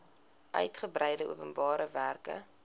uigebreide openbare werke